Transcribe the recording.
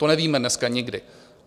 To nevíme dneska nikdy.